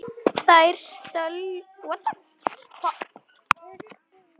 Þær stöllur kíma við.